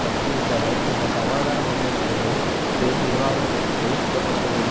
பட்டியலிட்ட அவர் பின்னர் சமாதான முன்னெடுப்புகள் பெரும் விரிவாக்கத்துக்குள் இட பட்டுள்ளது